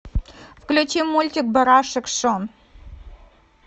включи мультик барашек шон